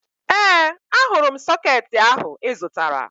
Ee, ahụrụ m sọkeetị ahụ ị zụtara